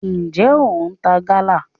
njẹ o ń ta gala?